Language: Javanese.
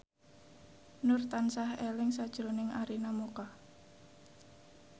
Nur tansah eling sakjroning Arina Mocca